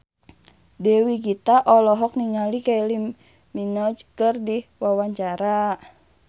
Dewi Gita olohok ningali Kylie Minogue keur diwawancara